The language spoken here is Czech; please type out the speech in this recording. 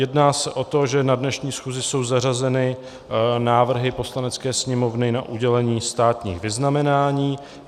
Jedná se o to, že na dnešní schůzi jsou zařazeny návrhy Poslanecké sněmovny na udělení státních vyznamenání.